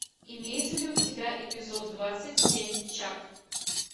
имеется ли у тебя эпизод двадцать семь чак